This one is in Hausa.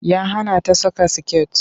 Ya hana ta saka skirt.